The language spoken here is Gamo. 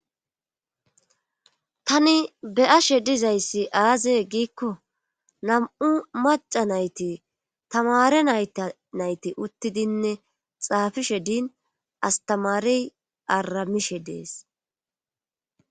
Tani be7ashe dizayssi aaze giikko nam7u macca nayti tamaare nayti uttidinne xaafishe din tamaarey arramishe des